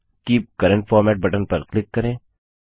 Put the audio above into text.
keep current format button पर click करें